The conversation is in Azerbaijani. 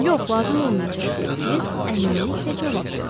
Yox, lazım olmayacaq, deyə Kirisk əminliklə cavab verdi.